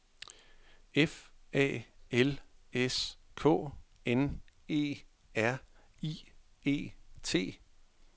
F A L S K N E R I E T